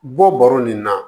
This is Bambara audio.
Bɔ bɔrɔ nin na